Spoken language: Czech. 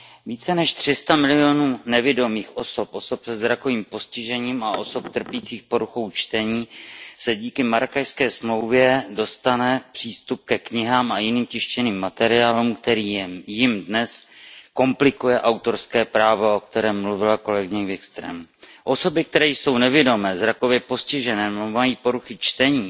Více než 300 milionů nevidomých osob, osob se zrakovým postižením a osob trpících poruchou čtení díky Marrákešské smlouvě dostane přístup ke knihám a jiným tištěným materiálům, který jim dnes komplikuje autorské právo, o kterém mluvila kolegyně Wikströmová. Osoby, které jsou nevidomé, zrakově postižené nebo mají poruchy čtení